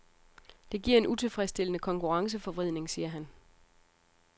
Det giver en utilfredsstillende konkurrenceforvridning, siger han.